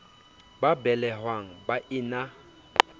ba belehwang ba e na